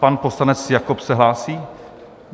Pan poslanec Jakob se hlásí?